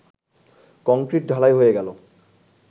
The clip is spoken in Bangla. কংক্রিট-ঢালাই হয়ে গেল